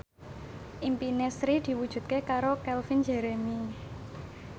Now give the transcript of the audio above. impine Sri diwujudke karo Calvin Jeremy